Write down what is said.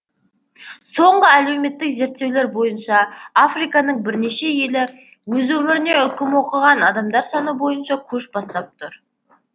соңғы әлеуметтік зерттеулер бойынша африканың бірнеше елі өз өміріне үкім оқыған адамдар саны бойынша көш бастап тұр